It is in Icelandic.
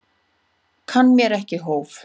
Kann mér ekki hóf.